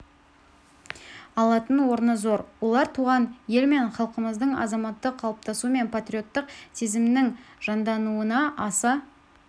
алатын орны зор олар туған ел мен халқымыздың азаматтық қалыптасуы мен патриоттық сезімінің жандануына аса